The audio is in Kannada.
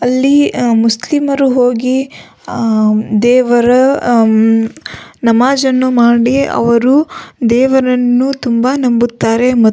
ಅಲ್ಲಿ ಮುಸ್ಲಿಮರು ಹೋಗಿ ದೇವರ ನಮಾಝನ್ನು ಮಾಡಿ ಅವರು ದೇವರನ್ನು ತುಂಬ ನಂಬುತ್ತಾರೆ ಮತ್ತು --